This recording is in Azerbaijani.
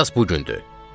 Əsas bu gündür.